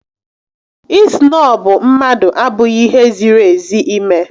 Ị snọbụ mmadụ abụghị ihe ziri ezi ime